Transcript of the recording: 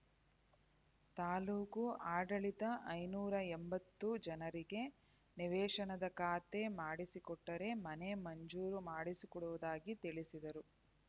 ತಾಲೂಕು ಅಡಳಿತ ಐನೂರ ಎಂಬತ್ತು ಜನರಿಗೆ ನಿವೇಶನದ ಖಾತೆ ಮಾಡಿಸಿಕೊಟ್ಟರೆ ಮನೆ ಮಂಜೂರು ಮಾಡಿಸಿಕೊಡುವುದಾಗಿ ತಿಳಿಸಿದರು